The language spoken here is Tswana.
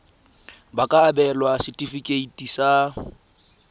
ba ka abelwa setefikeiti sa